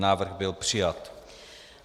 Návrh byl přijat.